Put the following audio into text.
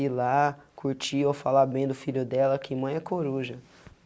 E lá, curtir ou falar bem do filho dela que mãe é coruja.